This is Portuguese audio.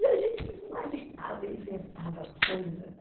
E a gente inventava coisa, né?